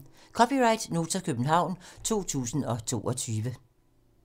(c) Nota, København 2022